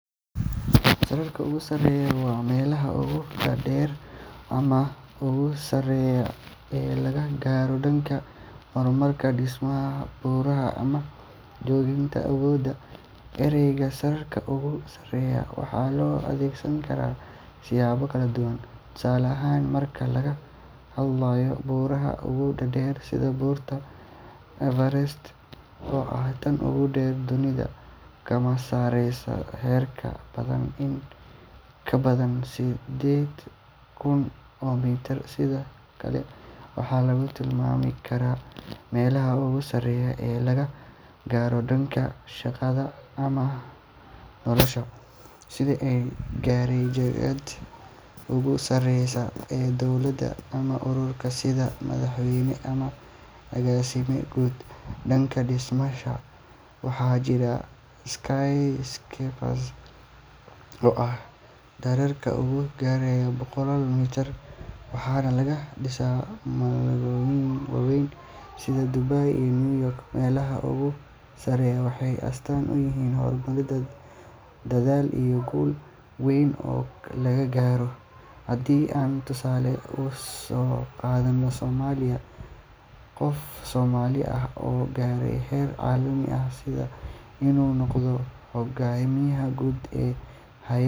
Sararka ugu sarreeya waa meelaha ugu dhaadheer ama ugu sareeya ee laga gaaro dhanka horumarka, dhismaha, buuraha, ama jagooyinka awoodda. Ereyga “sararka ugu sarreeya” waxaa loo adeegsan karaa siyaabo kala duwan, tusaale ahaan marka laga hadlayo buuraha ugu dhaadheer sida Buurta Everest, oo ah tan ugu dheer dunida, kana sarreysa heerka badda in ka badan sideed kun oo mitir. Sidoo kale, waxaa lagu tilmaami karaa meelaha ugu sareeya ee laga gaaro dhanka shaqada ama nolosha, sida qof gaaray jagada ugu sareysa ee dowlad ama urur, sida madaxweyne ama agaasime guud. Dhanka dhismayaasha, waxaa jira skyscrapers aad u dhaadheer oo gaaraya boqollaal mitir, waxaana laga dhisaa magaalooyin waaweyn sida Dubai iyo New York. Meelaha ugu sarreeya waxay astaan u yihiin horumar, dadaal iyo guul weyn oo la gaaro. Haddii aan tusaale u soo qaadanno Soomaaliya, qof Soomaali ah oo gaaray heer caalami ah sida inuu noqdo xoghayaha guud ee hay’ad